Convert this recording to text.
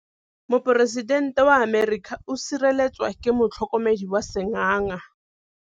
Poresitêntê wa Amerika o sireletswa ke motlhokomedi wa sengaga.